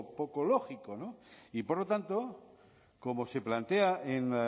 poco lógico y por lo tanto como se plantea en